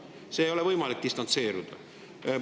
Sellest ei ole võimalik distantseeruda.